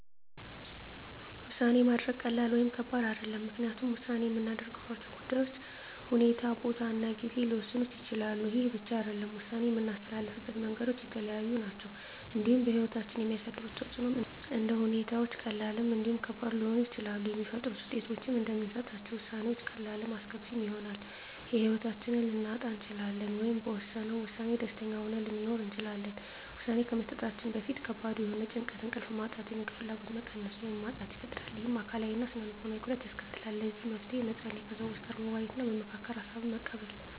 ውሳኔ ማድረግ ቀላል ወይም ከባድ አይደለም ምክንያቱም ውሳኔ የምናደርግባቸው ጉዳዮች ሁኔታ ቦታ እና ጊዜ ሊወሰኑት ይችላሉ ይህ ብቻ አይደለም ውሳኔ የምናስተላልፍበት መንገዶች የተለያዩ ናቸው እንዲሁም በህይወታችን የሚያሳድሩት ተፅእኖም እንደ ሁኔታዎች ቀላልም እንዲሁም ከባድ ሊሆኑ ይችላሉ የሚፈጥሩት ውጤቶችም እንደምንሰጣቸው ውሳኔዎች ቀላልም አስከፊም ይሆናል የህይወታችንን ልናጣ እንችላለን ወይም በወሰነው ውሳኔ ደስተኛ ሆነን ልንኖር እንችላለን ውሳኔ ከመስጠታችን በፊት ከባድ የሆነ ጭንቀት እንቅልፍ ማጣት የምግብ ፍላጎት መቀነስ ወይም ማጣት ይፈጥራል ይህም አካላዊ እና ስነ ልቦናዊ ጉዳት ያስከትላል ለዚህ መፍትሄ መፀለይ ከሰዎች ጋር መወያየትና መመካከር ሀሳብን መቀበል